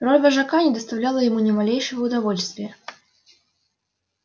роль вожака не доставляла ему ни малейшего удовольствия